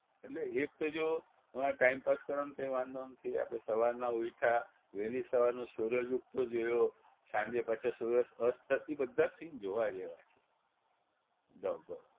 એટલે એક તો જો વા time pass કરવાનો કોઈ વાંધો નથી આપણે સવારના ઉઠ્યા વહેલી સવારનો સૂરજ ઉગતો જોયો સાંજે પાછા સૂરજ અસ્ત થ ઈ બધા scene જોવા જેવા છે જબર